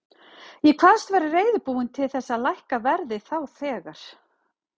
Ég kvaðst vera reiðubúinn til þess að lækka verðið þá þegar.